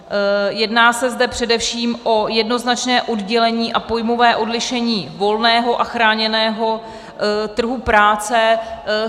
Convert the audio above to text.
Jedná se zde především o jednoznačné oddělení a pojmové odlišení volného a chráněného trhu práce.